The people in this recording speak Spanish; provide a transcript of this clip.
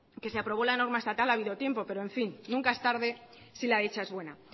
que se aprobó la normal estatal ha habido tiempo pero en fin nunca es tarde si la dicha es buena